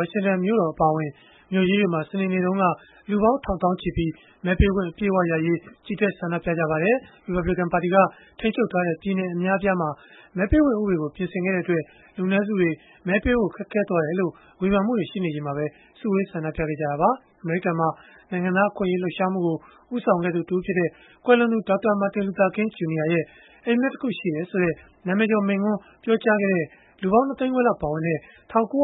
ါရှင်တန်မြို့တော် အပါအဝင် မြို့ကြီးတွေမှာ စနေနေ့က လူပေါင်းထောင်သောင်းချီပြီး မဲပေးခွင့်အတွက် ချီတက် ဆန္ဒပြခဲ့ကြပါတယ်။ ရီပတ်ဘလစ်ကန် ပါတီက ထိန်းချုပ်ထားတဲ့ ပြည်နယ်အများအပြားမှာ မဲပေးခွင့် ဥပဒေကို ပြင်ဆင်ခဲ့တဲ့အတွက် လူနည်းစုတွေ မဲပေးဖို့ ခက်ခဲသွားတယ်လို့ ဝေဖန်မှုတွေ ရှိနေချိန်မှာပဲ စုဝေးဆန္ဒပြခဲ့ကြတာပါ။ အမေရိကန်မှာ နိုင်ငံသား အခွင့်အရေး လှုပ်ရှားမှုကို ဦးဆောင်ခဲ့သူ တဦးဖြစ်တဲ့ ကွယ်လွန်သူ Dr. Martin Luther King Jr. ရဲ့ အိပ်မက်တခုရှိတယ်ဆိုတဲ့ နာမည်ကျော် မိန့်ခွန်း ပြောကြားခဲ့တဲ့ လူပေါင်း ၂ သိန်းခွဲလောက် ပါဝင်တဲ့ ၁၉၆၃ ခု